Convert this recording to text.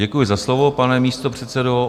Děkuji za slovo, pane místo předsedo.